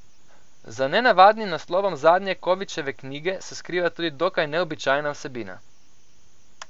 Za nenavadnim naslovom zadnje Kovičeve knjige se skriva tudi dokaj neobičajna vsebina.